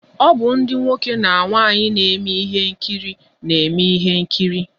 O bụ ndi nwoke na nwaanyi na eme ihe nkiri na-eme ihe nkiri